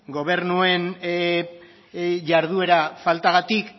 gobernuen jarduera faltagatik